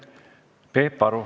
Peep Aru.